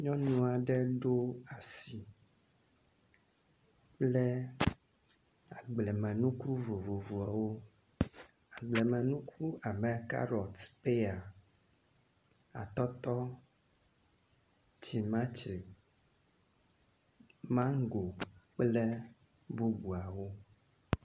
Nyɔnu aɖe ɖo asi kple agblemenuku vovovoa wo. Agblemenuku abe karɔt, peya. Atɔtɔ, timatre, mango kple bubuawo.